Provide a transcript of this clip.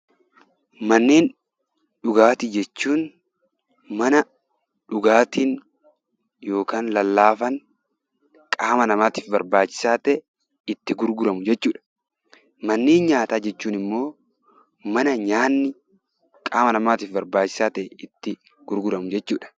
Manneen dhugaatii jechuun mana dhugaatiin lallaafaan qaama namaatiif barbaachisaa ta'e itti gurguramu jechuudha. Manneen nyaataa jechuun immoo mana nyaanni qaama namaatiif barbaachisaa ta'e itti gurguramu jechuudha